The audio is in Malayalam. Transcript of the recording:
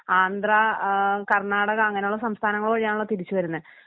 ആന്ധ്ര ആ കർണാടക അങ്ങനെയുള്ള സംസ്ഥാനങ്ങള് വഴിയാണല്ലോ തിരിച്ചു വരുന്നേ